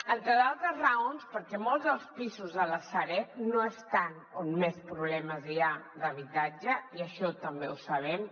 entre d’altres raons perquè molts dels pisos de la sareb no estan on més problemes hi ha d’habitatge i això també ho sabem